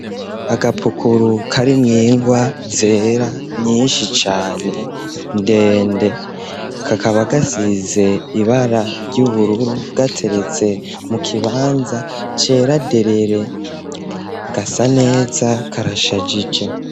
Agapukuru, karimwo ingwa zera, nyinshi cane, ndende; kakaba, gasize ibara ry'ubururu, gateretse mu kibanza, cera derere; gasa neza, karashajije.